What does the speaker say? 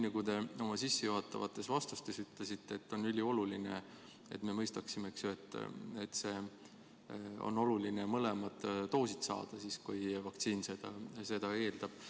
Nagu te oma sissejuhatavates vastustes ütlesite, on ülioluline, et me mõistaksime, et on oluline mõlemad doosid saada, kui konkreetne vaktsiin seda eeldab.